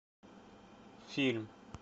фильм